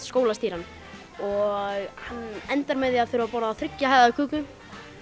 er skólastýran og hann endar með því að þurfa að borða þriggja hæða köku